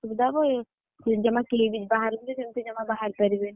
ଅସୁବିଧା ହବ ଜମା କିଲିବିଲ ବାହାରକୁ ବି ଜମା ସେମତି ବାହାରି ପରିବେନି,